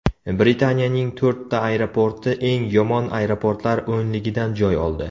Britaniyaning to‘rtta aeroporti eng yomon aeroportlar o‘nligidan joy oldi.